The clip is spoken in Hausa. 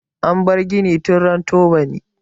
An bar gini tun ran tubani.